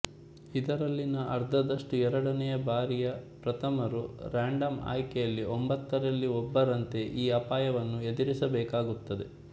ಇದರಲ್ಲಿನ ಅರ್ಧದಷ್ಟು ಎರಡನೆಯ ಬಾರಿಯ ಪ್ರಥಮರು ರಾಂಡಮ್ ಆಯ್ಕೆಯಲ್ಲಿ ಒಂಭತ್ತರಲ್ಲಿ ಒಬ್ಬರಂತೆ ಈ ಅಪಾಯವನ್ನು ಎದುರಿಸಬೇಕಾಗುತ್ತದೆ